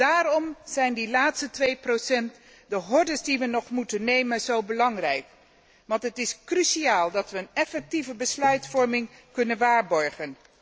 Daarom zijn die laatste 2, de hordes die we nog moeten nemen, zo belangrijk want het is cruciaal dat we een effectieve besluitvorming kunnen waarborgen.